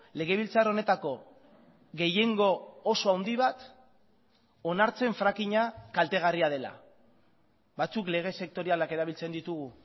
legebiltzar honetako gehiengo oso handi bat onartzen frackinga kaltegarria dela batzuk lege sektorialak erabiltzen ditugu